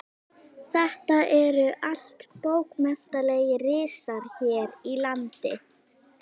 Þetta eru allt bókmenntalegir risar hér í landi.